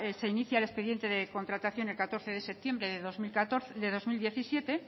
se inicia el expediente de contratación el catorce de septiembre de dos mil diecisiete